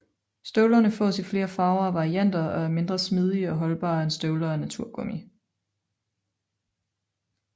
Støvlerne fås i flere farver og varianter og er mindre smidige og holdbare end støvler af naturgummi